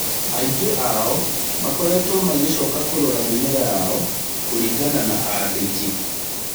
Aingĩ ao makoretwo magĩcoka kũrora mimera yao kũrĩngana na andĩki.